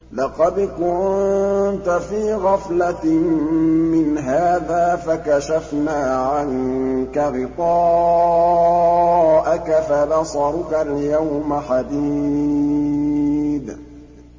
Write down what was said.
لَّقَدْ كُنتَ فِي غَفْلَةٍ مِّنْ هَٰذَا فَكَشَفْنَا عَنكَ غِطَاءَكَ فَبَصَرُكَ الْيَوْمَ حَدِيدٌ